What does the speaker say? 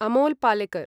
Amol Palekar